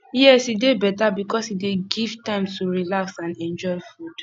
yes e dey beta because e dey give time to relax and enjoy food